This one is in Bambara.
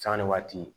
Sanga ni waati